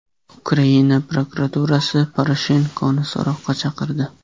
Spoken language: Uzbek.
Ukraina bosh prokuraturasi Poroshenkoni so‘roqqa chaqirdi.